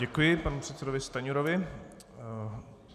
Děkuji panu předsedovi Stanjurovi.